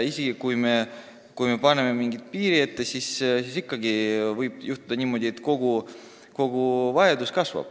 Isegi kui me paneme mingi piiri ette, võib ikkagi juhtuda niimoodi, et koguvajadus kasvab.